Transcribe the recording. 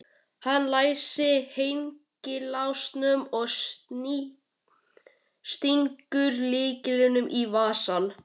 Hann læsir hengilásnum og stingur lyklinum í vasann.